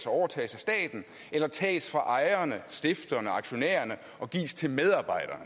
overtages af staten eller tages fra ejerne stifterne aktionærerne og gives til medarbejderne